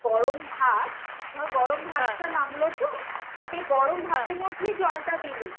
গরম ভাত, ধর গরম ভাতটা নামলো তো, সেই গরম ভাতের মধ্যেই জলটা দিলি।